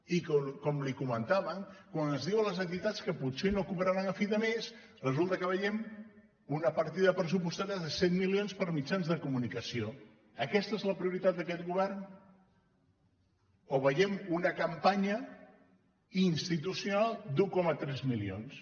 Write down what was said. i com li comentaven quan es diu a les entitats que potser no cobraran a fi de mes resulta que veiem una partida pressupostària de cent milions per a mitjans de comunicació aquesta és la prioritat d’aquest govern o veiem una campanya institucional d’un coma tres milions